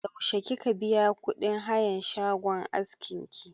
Yaushe kika biya kuɗin hayan shagon askin ki?